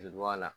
la